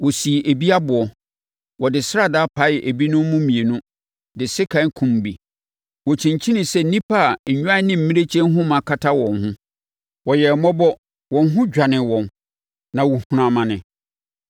Wɔsii ebi aboɔ. Wɔde sradaa paee ebinom mu mmienu, de sekan kumm bi. Wɔkyinkyinii sɛ nnipa a nnwan ne mmirekyie nhoma kata wɔn ho. Wɔyɛɛ mmɔbɔ. Wɔn ho dwanee wɔn na wɔhunuu amane.